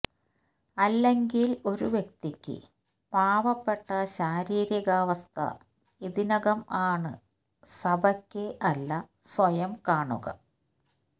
അല്ലെങ്കിൽ ഒരു വ്യക്തിക്ക് പാവപ്പെട്ട ശാരീരികാവസ്ഥ ഇതിനകം ആണ് സഭയ്ക്ക് അല്ല സ്വയം കാണുക